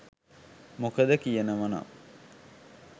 මොකද කියනවනම්